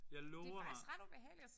Jeg lover dig